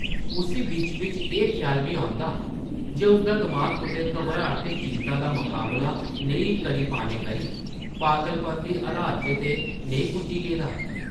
उस्सी बिच्च-बिच्च एह् ख्याल बी औंदा जे उसदा दमाक कुतै घबराट ते चिंता दा मकाबला नेईं करी पाने करी पागलपन दी हालत च ते नेईं पुज्जी गेदा ।